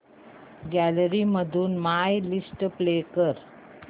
gallery मधून my list play कर